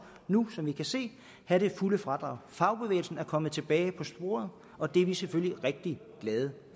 nu som vi kan se have det fulde fradrag fagbevægelsen er kommet tilbage på sporet og det er vi selvfølgelig rigtig glade